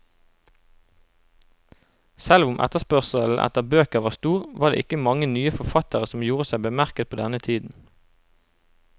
Selv om etterspørselen etter bøker var stor, var det ikke mange nye forfattere som gjorde seg bemerket på denne tiden.